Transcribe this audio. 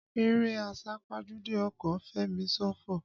Eré àsápajúdé ọkọ̀ ń fẹ̀mí ṣòfò.